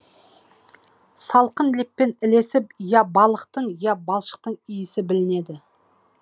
салқын леппен ілесіп я балықтың я балшықтың иісі білінеді